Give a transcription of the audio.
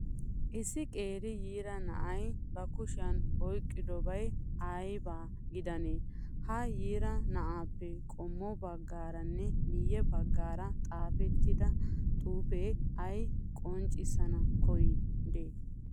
Issi qeeri yiira na'ayi bakushiyan oyiqqodabayi ayiba gidanee? Ha yiira na'aappe qommo baggaaranne miyye baggaara xaapettida xuupee ayi qonccissana koyyidee?